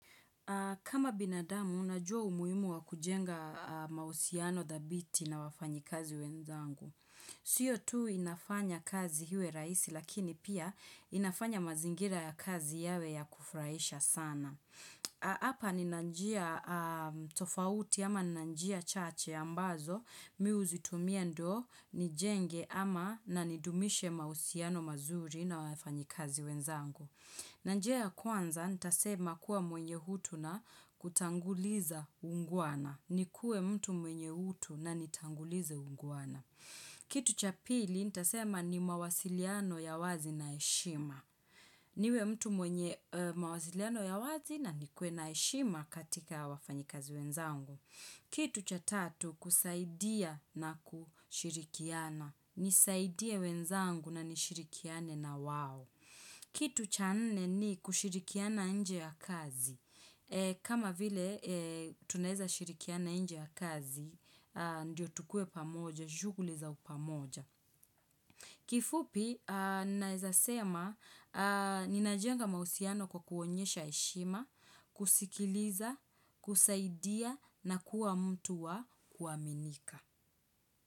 Kama binadamu, najua umuhimu wa kujenga mahusiano dhabiti na wafanyikazi wenzangu. Siyo tu inafanya kazi iwe rahisi, lakini pia inafanya mazingira ya kazi yawe ya kufurahisha sana. Hapa nina njia tofauti ama na njia chache ambazo, mi huzitumia ndo, nijenge ama na nidumishe mahusiano mazuri na wafanyikazi wenzangu. Na njia ya kwanza, nitasema kuwa mwenye hutu na kutanguliza uungwana. Nikuwe mtu mwenye hutu na nitangulize uungwana. Kitu cha pili, nitasema ni mawasiliano ya wazi na heshima. Niwe mtu mwenye mawasiliano ya wazi na nikue na heshima katika wafanyikazi wenzangu. Kitu cha tatu kusaidia na kushirikiana. Nisaidie wenzangu na nishirikiane na wao. Kitu cha nne ni kushirikiana nje ya kazi. Kama vile tunaweza shirikiana nje ya kazi, ndio tukuwe pamoja, shughuli za pamoja. Kifupi, naeza sema, ninajenga mahusiano kwa kuonyesha heshima, kusikiliza, kusaidia na kuwa mtu wa kuaminika.